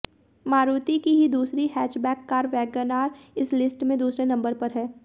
मारुति की ही दूसरी हैचबैक कार वैगनआर इस लिस्ट में दूसरे नंबर पर है